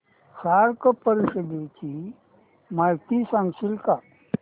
SAARC परिषदेची माहिती सांगशील का